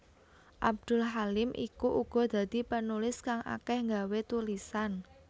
Abdul Halim iku uga dadi penulis kang akeh gawé tulisan